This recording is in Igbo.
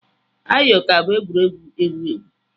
Ayo ka bụ egwuregwu ewu ewu.